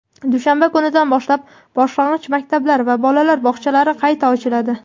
dushanba kunidan boshlab boshlang‘ich maktablar va bolalar bog‘chalari qayta ochiladi.